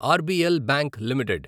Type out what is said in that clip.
RBL bank limited